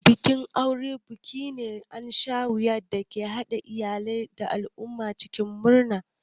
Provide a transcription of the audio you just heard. Bikin aure buki ne na annashuwa da ke haɗa iyalai da al'umma cikin murna.